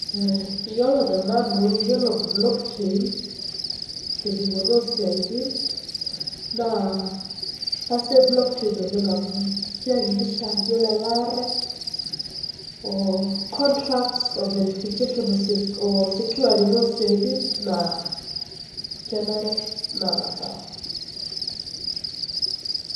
Yiolo te nanu, yiolo blockchain tedupoto oo siatin naa kasidai blockchain oleng' amuu keyakikisha yiolo elare oo contracts oo verification oo securing oo siatin naa kenare na kisawe.